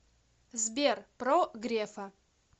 сбер про грефа